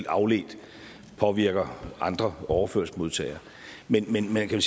afledt påvirker andre overførselsmodtagere men men man kan